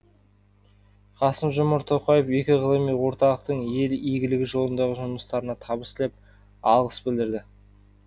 қасым жомарт тоқаев екі ғылыми орталықтың ел игілігі жолындағы жұмыстарына табыс тілеп алғыс білдірді